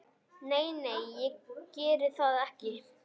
Nei, nei, ég geri það ekki.